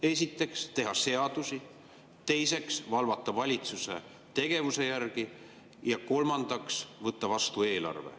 Esiteks, teha seadusi, teiseks, valvata valitsuse tegevuse üle ja kolmandaks, võtta vastu eelarve.